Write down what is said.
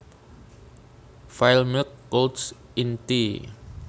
File Milk clouds in tea